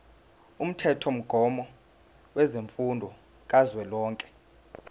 umthethomgomo wemfundo kazwelonke